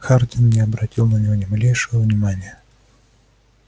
хардин не обратил на него ни малейшего внимания